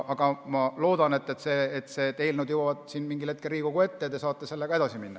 Aga ma loodan, et need eelnõud jõuavad mingil hetkel Riigikogu ette ja te saate selle teemaga edasi minna.